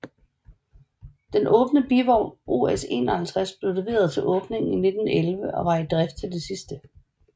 Den åbne bivogn OS 51 blev leveret til åbningen i 1911 og var i drift til det sidste